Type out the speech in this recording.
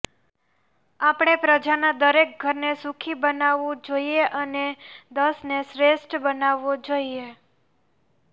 આપણે પ્રજાના દરેક ઘરને સુખી બનાવવું જોઈએ અને દશને શ્રેષ્ઠ બનાવવો જોઈએ